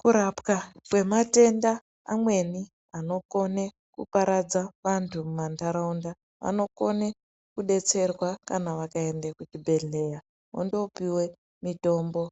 Kurapwa kwematenda amweni anokone kuparadza vantu mumantataunda anokone kudetserwa kana vakaenda kuzvibhedhlera vondoopuwa mitombo